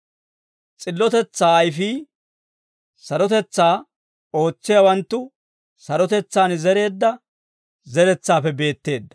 S'illotetsaa ayfii sarotetsaa ootsiyaawanttu sarotetsaan zereedda zeretsaappe beetteedda.